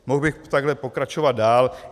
Mohl bych takhle pokračovat dál.